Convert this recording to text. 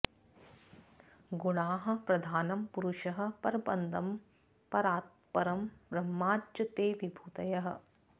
गुणाः प्रधानं पुरुषः परम्पदं परात्परं ब्रह्म च ते विभूतयः